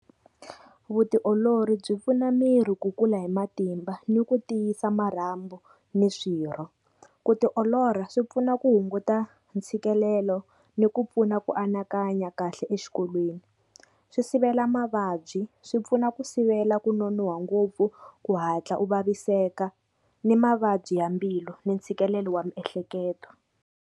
Vutiolori byi pfuna miri ku kula hi matimba ni ku tiyisa marhambu ni swirho. Ku tiolola swi pfuna ku hunguta ntshikelelo ni ku pfuna ku anakanya kahle exikolweni. Swi sivela mavabyi, swi pfuna ku sivela ku nonohwa ngopfu ku hatla u vaviseka ni mavabyi ya mbilu ni ntshikelelo wa miehleketo.